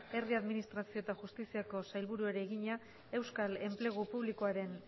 herri administrazio eta justiziako sailburuari egina euskal enplegu publikoaren